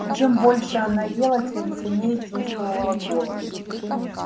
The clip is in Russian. и чем больше она ела тем сильнее чувствовала голод